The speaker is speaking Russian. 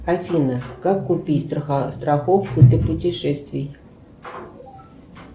афина как купить страховку для путешествий